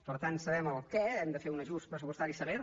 per tant sabem el què hem de fer un ajust pressupostari sever